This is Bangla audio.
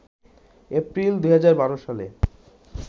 এপ্রিল ২০১২ সালে